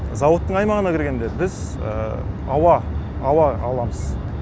зауыттың аймағына кіргенде біз ауа аламыз